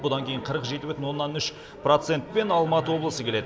бұдан кейін қырық жеті бүтін оннан үш процентпен алматы облысы келеді